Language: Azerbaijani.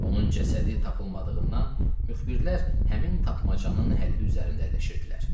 Onun cəsədi tapılmadığından müxbirlər həmin tapmacanın həlli üzərində əlləşirdilər.